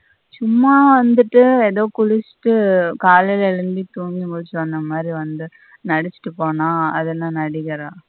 சும்மா வந்துட்டு எதோ குளிச்சிட்டு காலைல எழுந்திச்சி துங்கி முழிச்சி வந்த மாதிரி வந்து நடிச்சிட்டு போன அதுல நடிகர.